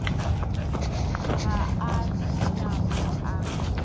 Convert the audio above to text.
ga a na mo a